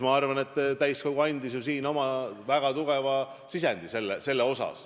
Ma arvan, et täiskogu andis siin oma väga tugeva sisendi.